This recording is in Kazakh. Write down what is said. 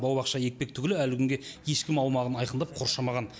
бау бақша екпек түгілі әлі күнге ешкім аумағын айқындап қоршамаған